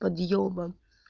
подъёбан